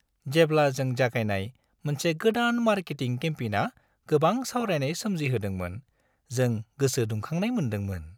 जेब्ला जों जागायनाय मोनसे गोदान मार्केटिं केम्पेइना गोबां सावरायनाय सोमजिहोदोंमोन जों गोसो दुंखांनाय मोनदोंमोन।